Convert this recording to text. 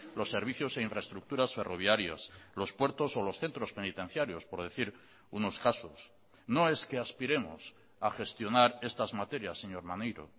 los servicios e infraestructuras ferroviarias los puertos o los centros penitenciarios por decir unos casos no es que aspiremos a gestionar estas materias señor maneiro